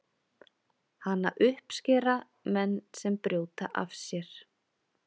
Hana uppskera menn sem brjóta af sér.